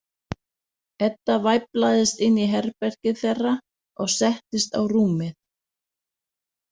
Edda væflaðist inn í herbergið þeirra og settist á rúmið.